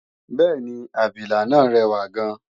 bẹ́ẹ̀ni, abilà náà rẹwà gan